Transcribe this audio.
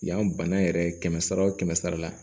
Yan bana yɛrɛ kɛmɛ sara o kɛmɛ sara la